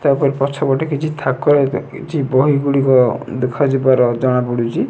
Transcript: ତା ପରେ ପଛ ପଟେ କିଛି ଥାକ କିଛି ବହି ଗୁଡ଼ିକ ଦେଖା ଯିବାର ଜଣାପଡୁଚି।